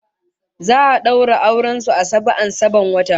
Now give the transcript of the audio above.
Za'a daura auren su a saba'an sabon wata